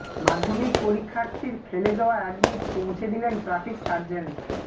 মাধ্যমিক পরীক্ষার্থীর ফেলে যাওয়া অ্যাডমিট পৌঁছে দিলেন ট্রাফিক সার্জেন্ট